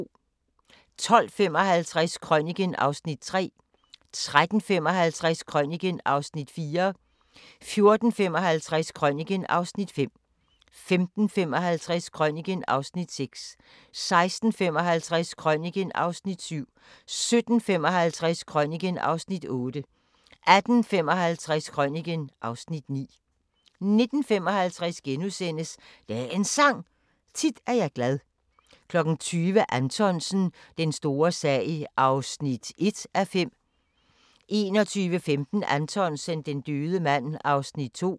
12:55: Krøniken (Afs. 3) 13:55: Krøniken (Afs. 4) 14:55: Krøniken (Afs. 5) 15:55: Krøniken (Afs. 6) 16:55: Krøniken (Afs. 7) 17:55: Krøniken (Afs. 8) 18:55: Krøniken (Afs. 9) 19:55: Dagens Sang: Tit er jeg glad * 20:00: Anthonsen – Den store sag (1:5) 21:15: Anthonsen - Den døde mand (2:5)